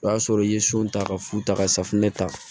O y'a sɔrɔ i ye so ta ka fu ta ka safunɛ ta